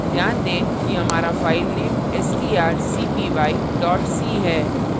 ध्यान दें कि हमारा फाइलनेमstrcpy c है